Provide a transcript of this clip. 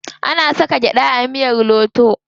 Ana saka gyaɗa a miyar lauto.